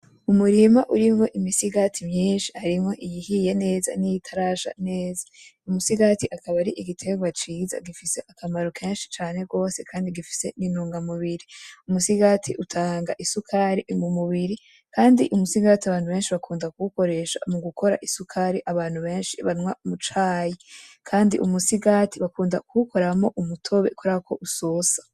Umurima urimwo imisigati myinshi harimwo iyihiye neza niyitarasha neza, imisigati akaba ari igitegwa ciza gifise akamaro kenshi cane gose kandi gifise n'intunga mubiri, umusigati utanga isukari mu mubiri kandi umusigati abantu benshi bakunda kuwukoresha mugukora isukari abantu benshi banwa mu cayi, kandi umusigati bakunda kuwukoramwo umutobe kubera ko usosa.